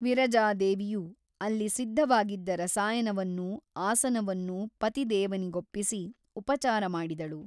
ವಿರಜಾದೇವಿಯು ಅಲ್ಲಿ ಸಿದ್ಧವಾಗಿದ್ದ ರಸಾಯನವನ್ನೂ ಆಸನವನ್ನೂ ಪತಿದೇವನಿಗೊಪ್ಪಿಸಿ ಉಪಚಾರಮಾಡಿದಳು.